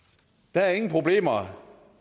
der er ingen problemer